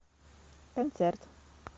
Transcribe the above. концерт